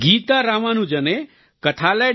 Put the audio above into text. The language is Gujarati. ગીતા રામાનુજમે kathalaya